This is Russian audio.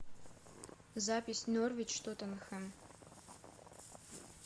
запись норвич тоттенхэм